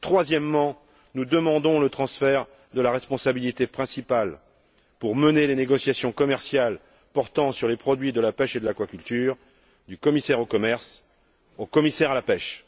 Troisièmement, nous demandons le transfert de la responsabilité principale, pour mener les négociations commerciales portant sur les produits de la pêche et de l'aquaculture, du commissaire au commerce au commissaire à la pêche.